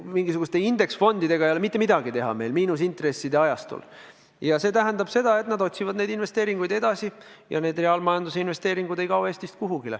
Mingisuguste indeksfondidega ei ole mitte midagi teha praegusel miinusintresside ajastul ja see tähendab seda, et nad otsivad investeeringuvõimalusi edasi ja reaalmajanduse investeeringud ei kao Eestist kuhugi.